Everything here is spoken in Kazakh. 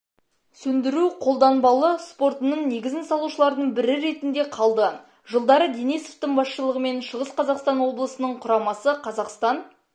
сөндіру-қолданбалы спортының негізін салушылардың бірі ретінде қалды жылдары денисовтың басшылығымен шығыс қазақстан облысының құрамасы қазақстан